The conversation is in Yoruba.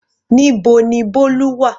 Níbo ni Bolu wà?